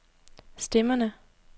stemmerne